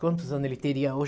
Quantos anos ele teria hoje?